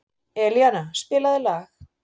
Elíana, spilaðu lag.